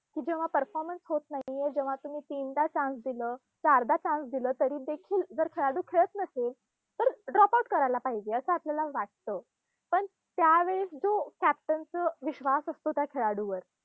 कुठे मग performance होत नाहीये, जेव्हा तुम्ही तीनदा chance दिलं, चारदा chance दिलं, तरी देखील जर खेळाडू खेळत नसेल, तर dropout करायला पाहिजे, असं आपल्याला वाटतं. पण त्या वेळेस जो captain च विश्वास असतो त्या खेळाडूवर